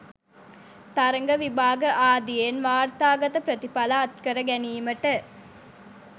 තරග විභාග ආදියෙන් වාර්තාගත ප්‍රතිඵල අත්කර ගැනීමට